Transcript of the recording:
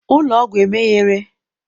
ụlọ ọgwụ emeghere?